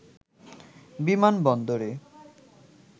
বিমান বন্দরে